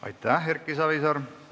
Aitäh, Erki Savisaar!